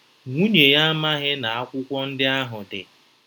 Nwunye ya amaghị na akwụkwọ ndị ahụ dị.